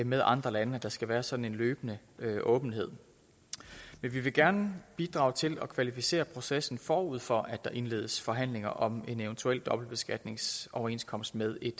med andre lande at der skal være sådan en løbende åbenhed men vi vil gerne bidrage til at kvalificere processen forud for at der indledes forhandlinger om en eventuel dobbeltbeskatningsoverenskomst med et